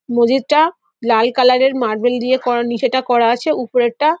মেঝেটা লাল কালার -এর মার্বেল দিয়ে করা নিচেটা করা আছে উপরের টা --